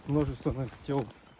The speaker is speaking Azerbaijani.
Çoxlu cəsədlər.